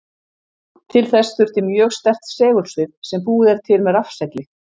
Til þess þurfti mjög sterkt segulsvið sem búið er til með rafsegli.